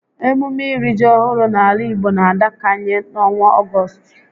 Emume iri ji ọhụrụ n'ala Igbo n'adabakanye n'ọnwa Ọgọstụ